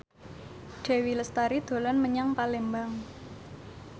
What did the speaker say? Dewi Lestari dolan menyang Palembang